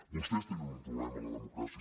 vostès tenen un problema amb la democràcia